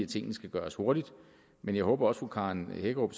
tingene skal gøres hurtigt men jeg håber også at fru karen hækkerup